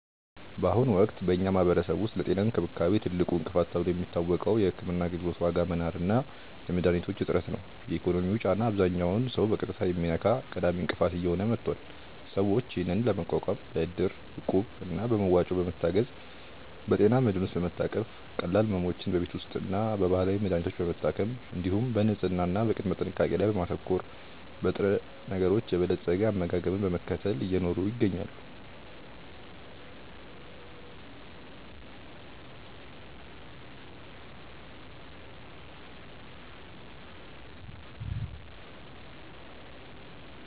በአሁኑ ወቅት በኛ ማህበረሰብ ውስጥ ለጤና እንክብካቤ ትልቁ እንቅፋት ተብሎ የሚታወቀው የሕክምና አገልግሎት ዋጋ መናር እና የመድኃኒቶች እጥረት ነው። የኢኮኖሚው ጫና አብዛኛውን ሰው በቀጥታ የሚነካ ቀዳሚ እንቅፋት እየሆነ መጥቷል። ሰዎች ይህንን ለመቋቋም በእድር፣ እቁብ እና በመዋጮ በመታገዝ፣ በጤና መድህን ውስጥ በመታቀፍ፣ ቀላል ሕመሞችን በቤት ውስጥና በባህላዊ መድሀኒቶች በመታከም፣ እንዲሁም በንጽህና እና በቅድመ ጥንቃቄ ላይ በማተኮር፣ በንጥረነገሮች የበለፀገ አመጋገብን በመከተል እየኖሩ ይገኛሉ።